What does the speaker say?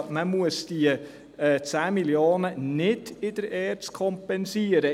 Man muss die 10 Mio. Franken also nicht in der ERZ kompensieren.